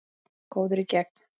Góður í gegn.